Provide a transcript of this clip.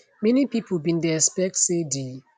many pipo bin dey expect say di